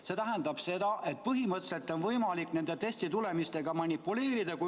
" See tähendab seda, et põhimõtteliselt on võimalik nende testitulemustega manipuleerida.